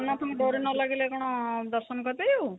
ଜଗନ୍ନାଥଙ୍କ ଡୋରୀ ନ ଲାଗିଲେ କଣ ଦର୍ଶନ କରିପାରିବୁ?